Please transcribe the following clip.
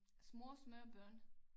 Små små børn